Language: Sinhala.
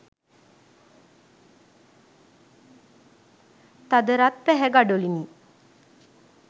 තද රත් පැහැ ගඩොලිනි